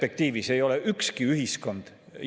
Aga tegelikult käitutakse vastupidiselt rahandusministri sõnadele.